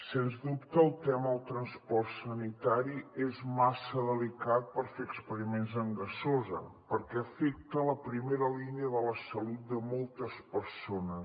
sens dubte el tema del transport sanitari és massa delicat per fer experiments amb gasosa perquè afecta la primera línia de la salut de moltes persones